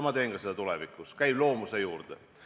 Ma teen seda ka tulevikus, see käib mu loomuse juurde.